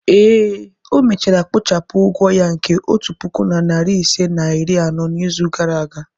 ee, o mechara kpochapụ ụgwọ ya nke otu puku na narị ise na iri anọ n'izu gara aga.